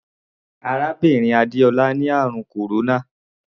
Arábìnrin Adéọlá ni àrùn kòróná.